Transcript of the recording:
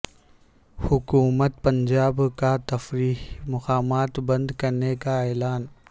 حکومت پنجاب کا تفریحی مقامات بند کرنے کا اعلان